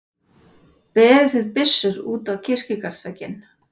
Berið þið byssur út á kirkjugarðsvegginn.